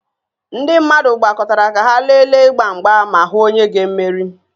Ndị mmadụ gbakọtara ka ha lelee ịgba mgba ma hụ onye ga-emeri